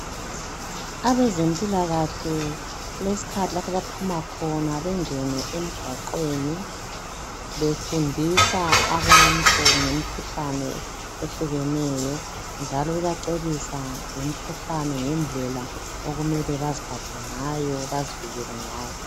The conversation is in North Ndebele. Abezempilakahle kulesikhathi lapho abaphuma khona bengene emgwaqweni befundisa abantu ngemikhuhlane ehlukeneyo, njalo bebacebisa ngemikhuhlane ngendlela okumele beziphathe ngayo bazivikele ngayo.